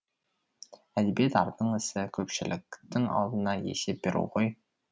әдебиет ардың ісі көпшіліктің алдында есеп беру ғой